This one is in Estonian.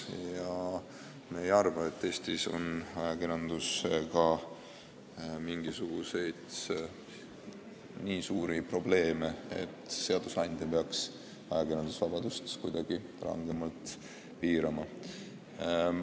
Ja me ei arva, et Eestis on ajakirjandusega mingisuguseid nii suuri probleeme, et seadusandja peaks ajakirjandusvabadust kuidagi rangemalt piirama.